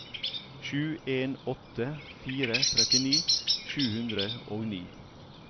sju en åtte fire trettini sju hundre og ni